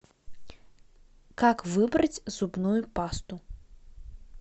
как выбрать зубную пасту